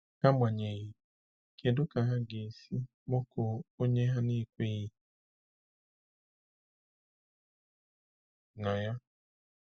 Agbanyeghị, kedu ka ha ga-esi kpọkuo onye ha na-ekweghị na ya?